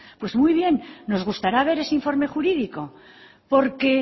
pues muy bien nos gustará ver ese informe jurídico porque